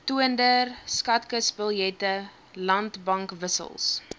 toonder skatkisbiljette landbankwissels